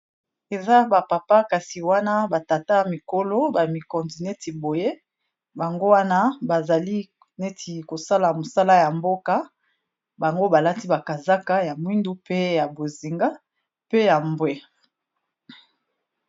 eza bapapa kasi wana batata ya mikolo bamikondi neti boye bango wana bazali neti kosala mosala ya mboka bango balati bakazaka ya mwindu pe ya bozinga pe ya mbwe